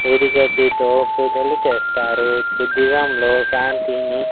పుదిగడ్డితో పూజలు చేస్తారు బుద్దిజంలో శాంతిని.